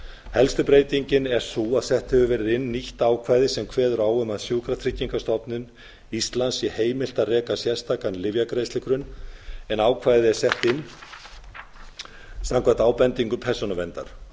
helsta breytingin er sú að sett hefur verið inn ýtt ákvæði sem kveður á um að sjúkratryggingastofnun íslands sé heimilt að reka sérstakan lyfjagreiðslugrunn en ákvæðið er sett samkvæmt ábendingu persónuverndar